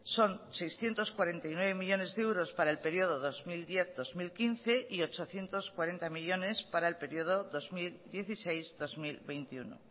son seiscientos cuarenta y nueve millónes de euros para el período dos mil diez dos mil quince y ochocientos cuarenta millónes para el período dos mil dieciséis dos mil veintiuno